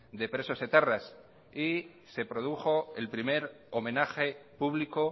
de presos etarras y se produjo el primer homenaje público